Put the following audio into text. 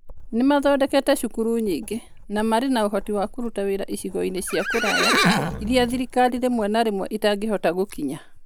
Nĩ mathondekete cukuru nyingĩ, na marĩ na ũhoti wa kũruta wĩra icigo-inĩ cia kũraya iria thirikari rĩmwe na rĩmwe ĩtangĩhota gũkinya.